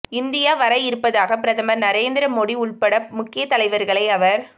India வர இருப்பதாகவும் பிரதமர் நரேந்திர மோடி உள்பட முக்கிய தலைவர்களை அவர்